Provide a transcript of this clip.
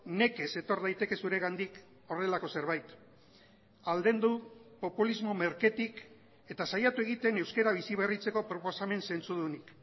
nekez etor daiteke zuregandik horrelako zerbait aldendu populismo merketik eta saiatu egiten euskara biziberritzeko proposamen zentzudunik